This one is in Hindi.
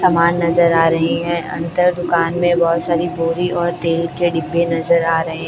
सामान नजर आ रही है अंदर दुकान में बहुत सारी बोरी और तेल के डिब्बे नजर आ रहे--